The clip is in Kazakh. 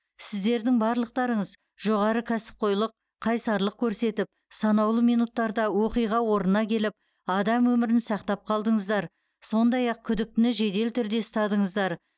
сіздердің барлықтарыңыз жоғары кәсіпқойлық қайсарлық көрсетіп санаулы минуттарда оқиға орнына келіп адам өмірін сақтап қалдыңыздар сондай ақ күдіктіні жедел түрде ұстадыңыздар